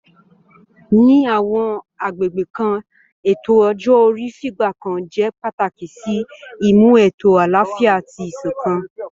Ní àwọn agbègbè kan, ètò ọjọ́ orí fìgbà kan jẹ́ pàtàkì sí ìmú ètò àlàáfíà àti ìṣọ̀kan